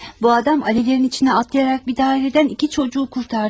Bu adam alevlerin içine atlayarak bir daireden iki çocuğu kurtardı.